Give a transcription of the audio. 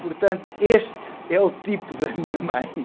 Portanto, este é o tipo da minha mãe.